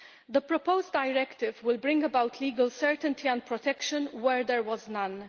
The proposed directive will bring about legal certainty and protection where there was none.